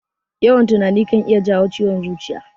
Yawan tunani kan iya jawo ciwon zuciya.